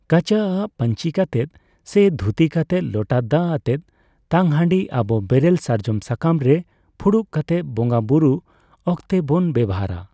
ᱠᱟᱪᱟ ᱟᱜ ᱯᱟᱸᱧᱪᱤ ᱠᱟᱛᱮᱫ ᱥᱮ ᱫᱷᱩᱛᱤ ᱠᱟᱛᱮᱫ ᱞᱚᱴᱟ ᱫᱟᱜ ᱟᱛᱮ ᱛᱟᱝ ᱦᱟᱰᱤ ᱟᱵᱚ ᱵᱮᱨᱮᱞ ᱥᱟᱨᱡᱚᱢ ᱥᱟᱠᱟᱢ ᱨᱮ ᱯᱷᱩᱲᱩᱜ ᱠᱮᱛᱮᱫ ᱵᱚᱸᱜᱟ ᱵᱩᱨᱩ ᱚᱠᱛᱮᱵᱚᱱ ᱵᱮᱵᱚᱦᱟᱨᱟ ᱾